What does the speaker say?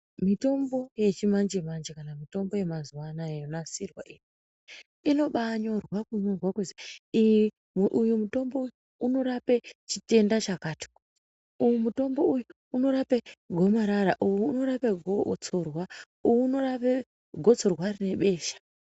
Mitombo yechimanje manje kana mitombo yemazuwa anaa yonasirwa iyi inobaanyorwa kunyorwa kuzi, ih uyu mutombo uyu unorapa chitenda chakati, uyu mutombo unorapa gomarara, uyu unorapa gotsorwa, uyu unorape gotsorwa rine besha.